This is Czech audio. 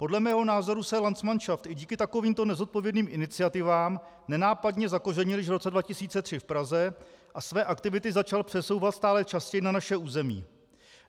Podle mého názoru se landsmanšaft i díky takovýmto nezodpovědným iniciativám nenápadně zakořenil již v roce 2003 v Praze a své aktivity začal přesouvat stále častěji na naše území.